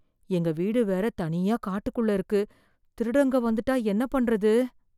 எங்க வீடு வேற தனியா காட்டுக்குள்ள இருக்கு. திருடங்க வந்துட்டா என்ன பண்றது